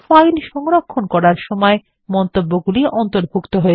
file সংরক্ষণ করার সময় মন্তব্যগুলি অন্তর্ভুক্ত হয়